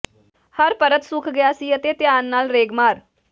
ਹਰ ਪਰਤ ਸੁੱਕ ਗਿਆ ਸੀ ਅਤੇ ਧਿਆਨ ਨਾਲ ਰੇਗਮਾਰ